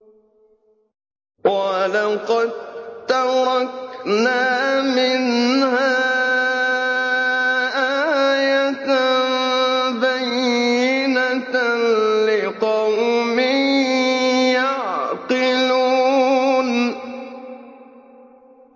وَلَقَد تَّرَكْنَا مِنْهَا آيَةً بَيِّنَةً لِّقَوْمٍ يَعْقِلُونَ